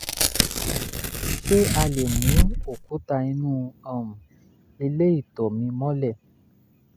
ṣé a lè mú òkúta inú um ilé ìtọ̀ mi mọ́lẹ̀?